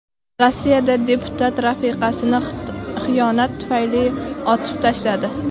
Rossiyada deputat rafiqasini xiyonat tufayli otib tashladi.